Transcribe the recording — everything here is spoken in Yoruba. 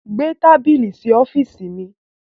Gbé tábílì sí ọ̀fììsì mi!